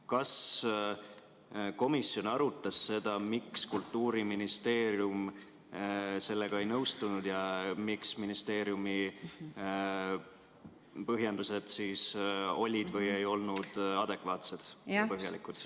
Kas komisjon arutas seda, miks Kultuuriministeerium sellega ei nõustunud ja miks ministeeriumi põhjendused siis olid või ei olnud adekvaatsed ja põhjalikud?